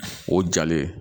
O jalen